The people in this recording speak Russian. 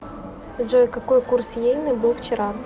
джой какой курс йены был вчера